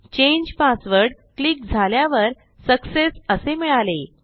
change password click झाल्यावर success असे मिळाले